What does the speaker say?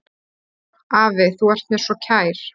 Afi, þú ert mér svo kær.